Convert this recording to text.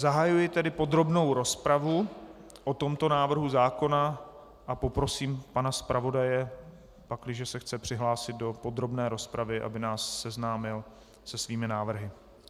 Zahajuji tedy podrobnou rozpravu o tomto návrhu zákona a poprosím pana zpravodaje, pakliže se chce přihlásit do podrobné rozpravy, aby nás seznámil se svými návrhy.